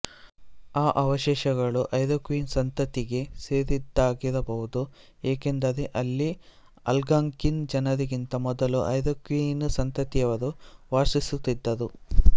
ಆ ಅವಶೇಷಗಳು ಐರೋಕ್ವಿಯಿನ್ ಸಂತತಿಗೆ ಸೇರಿದ್ದಾಗಿರಬಹುದು ಏಕೆಂದರೆ ಅಲ್ಲಿ ಆಲ್ಗಾಂಕಿನ್ ಜನರಿಗಿಂತ ಮೊದಲು ಐರೋಕ್ವಿಯಿನ್ ಸಂತತಿಯವರು ವಾಸಿಸುತ್ತಿದ್ದರು